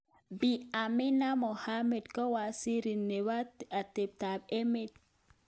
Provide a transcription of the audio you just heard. Bi Amina Mohammed kowaziri nebo atebtak emet.